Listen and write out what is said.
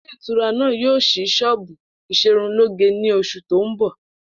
Ilé ìtura náà yóò s̩í s̩ó̩ò̩bù ìs̩erunlóge ní os̩ù tó ń bò̩